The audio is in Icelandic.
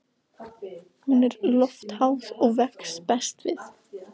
Hún er loftháð og vex best við